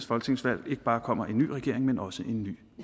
folketingsvalg ikke bare kommer en ny regering men også en ny